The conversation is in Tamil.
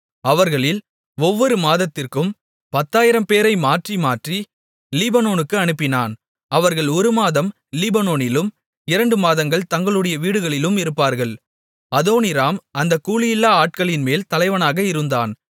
அவர்களில் ஒவ்வொரு மாதத்திற்கும் 10000 பேரை மாற்றி மாற்றி லீபனோனுக்கு அனுப்பினான் அவர்கள் ஒரு மாதம் லீபனோனிலும் இரண்டு மாதங்கள் தங்களுடைய வீடுகளிலும் இருப்பார்கள் அதோனீராம் அந்த கூலியில்லா ஆட்களின்மேல் தலைவனாக இருந்தான்